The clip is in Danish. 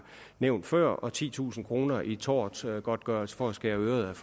nævnte før og titusind kroner i tortgodtgørelse for at skære øret